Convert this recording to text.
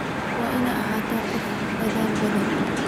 Waad ina ahatahy qof aad udadhal badhan.